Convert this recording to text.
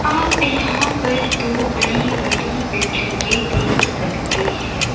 आप यहां पर दो बड़ी बड़ी बिल्डिंगें देख सकते हैं।